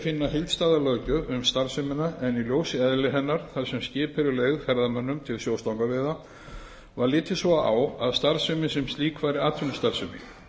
finna heildstæða löggjöf um starfsemina en í ljósi eðlis hennar þar sem skip eru leigð ferðamönnum til sjóstangveiða var litið svo á að starfsemin sem slík væri atvinnustarfsemi